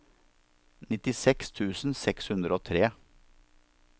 nittiseks tusen seks hundre og tre